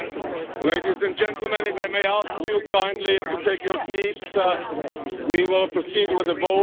Ladies and gentlemen, if I may ask you kindly to take your seats, we will proceed with the votes.